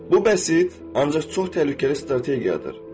Bu bəsit, ancaq çox təhlükəli strategiyadır.